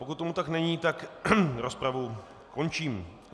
Pokud tomu tak není, tak rozpravu končím.